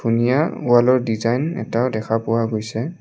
ধুনীয়া ৱালৰ ডিজাইন এটাও দেখা পোৱা গৈছে।